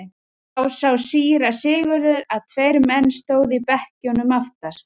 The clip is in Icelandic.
Þá sá síra Sigurður að tveir menn stóðu í bekkjunum aftast.